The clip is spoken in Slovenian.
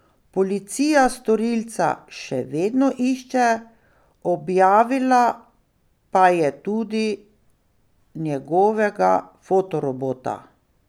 Policija storilca še vedno išče, objavila pa je tudi njegovega fotorobota.